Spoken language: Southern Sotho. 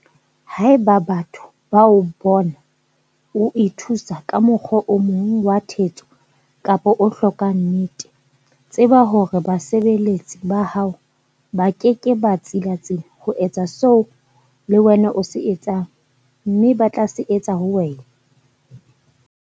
Haeba batho ba o bona o ithuisa ka mokgwa o mong wa thetso kapa o hlokang nnete, tseba hore basebeletsi ba hao ba ke ke ba tsilatsila ho etsa seo le wena o se etsang, mme ba tla se etsa ho wena!